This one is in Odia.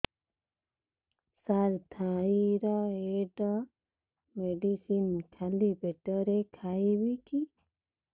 ସାର ଥାଇରଏଡ଼ ମେଡିସିନ ଖାଲି ପେଟରେ ଖାଇବି କି